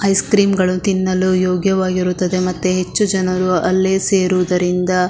ice cream ಗಳು ತಿನ್ನಲು ಯೋಗ್ಯವಾಗಿರುತ್ತದೆ ಮತ್ತೆ ಹೆಚ್ಚು ಜನರು ಅಲ್ಲೇ ಸೇರುವುದರಿಂದ --